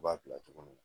U b'a bila cogo min na